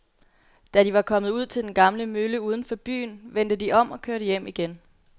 Da de var kommet ud til den gamle mølle uden for byen, vendte de om og kørte hjem igen.